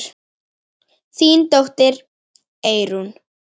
Þín dóttir, Eyrún.